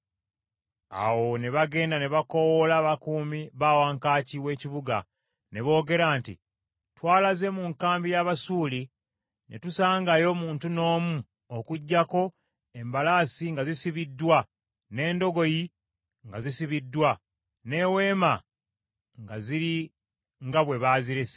Awo ne bagenda ne bakoowoola abakuumi ba wankaaki w’ekibuga, ne boogera nti, “Twalaze mu nkambi y’Abasuuli ne tutasangayo muntu n’omu okuggyako embalaasi nga zisibiddwa, n’endogoyi nga zisibiddwa, n’eweema nga ziri nga bwe baazirese.”